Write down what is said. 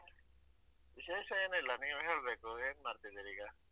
ವಿಶೇಷ ಏನು ಇಲ್ಲ ನೀವ್ ಹೇಳ್ಬೇಕು ಏನ್ ಮಾಡ್ತಿದ್ದೀರಿಗ?